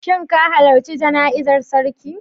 Shin ka halarci jana'izar sarki?